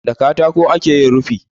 Da katako ake yin rufi.